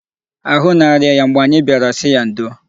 Ahụ na-arịa ya mgbe anyị bịara sị ya ndo.